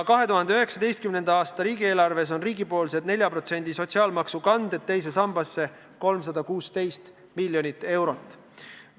2019. aasta riigieelarves on riigipoolseid teise sambasse tehtavaid 4%-lisi sotsiaalmaksu kandeid 316 miljoni euro väärtuses.